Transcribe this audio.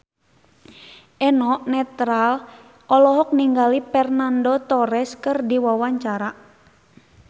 Eno Netral olohok ningali Fernando Torres keur diwawancara